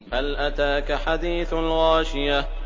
هَلْ أَتَاكَ حَدِيثُ الْغَاشِيَةِ